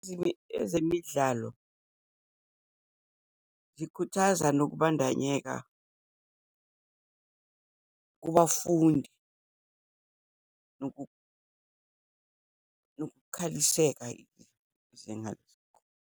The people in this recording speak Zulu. Ezemidlalo zikhuthaza nokubandanyeka kubafundi nokukhaliseka .